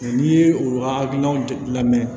N'i ye o ka hakilinaw labɛn